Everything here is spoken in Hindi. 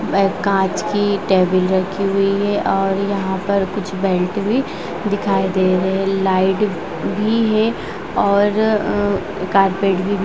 कांच की टेबिल रखी हुई है और यहां पर कुछ बेल्ट भी दिखाई दे रहे लाइट भी है और कारपेट भी बिछी--